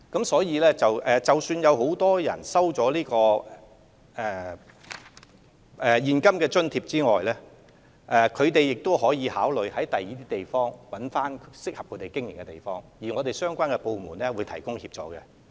所以，即使很多作業者收取了現金津貼，他們仍可考慮在其他地方尋找適合經營的場所，政府相關部門會就此提供協助。